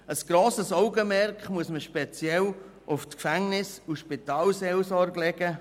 Ein grosses Augenmerk muss man speziell auf Gefängnisse und die Spitalseelsorge richten.